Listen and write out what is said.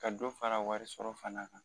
Ka dɔ fara warisɔrɔ fana kan